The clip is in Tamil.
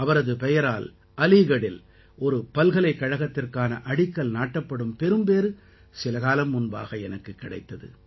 அவரது பெயரால் அலீகடில் ஒரு பல்கலைக்கழகத்திற்கான அடிக்கல் நாட்டப்படும் பெரும்பேறு சில காலம் முன்பாக எனக்குக் கிடைத்தது